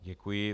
Děkuji.